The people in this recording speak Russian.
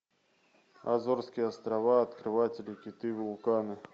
азорские острова открыватели киты вулканы